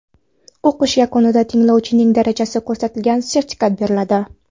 O‘qish yakunida tinglovchining darajasi ko‘rsatilgan sertifikat beriladi.